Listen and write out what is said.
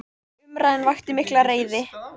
Umræðan vakti mikla reiði.